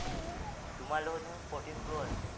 তোমাৰ লগত দেখোন fourteen pro আছে।